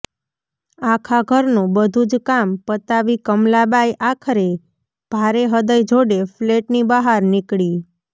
આખા ઘરનું બધુજ કામ પતાવી કમલા બાઈ આખરે ભારે હૃદય જોડે ફ્લેટની બહાર નીકળી